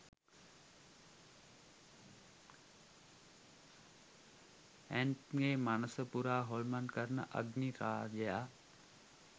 ඈන්ග්ගේ මනස පුරා හොල්මන් කරන අග්නි රාජයා